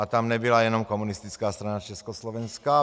A tam nebyla jenom Komunistická strana Československa.